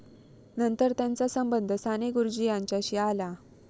नंतर त्यांचा संबंध साने गुरुजी यांच्याशी आला.